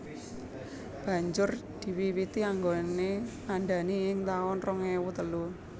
Banjur diwiwiti anggone ndandani ing taun rong ewu telu